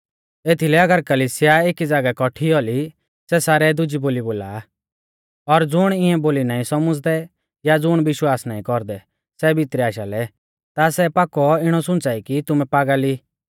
एथीलै अगर कलिसिया एकी ज़ागै कौठी औली सै सारै दुजी बोली बोला और ज़ुण इऐं बोली नाईं सौमझ़दै या ज़ुण विश्वास नाईं कौरदै सै भितरै आशालै ता सै पाक्कौ इणौ सुंच़ाई कि तुमै पागल ई